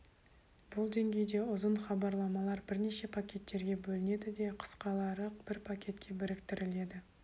бұл деңгейде ұзын хабарламалар бірнеше пакеттерге бөлінеді де қысқалары бір пакетке біріктіріледі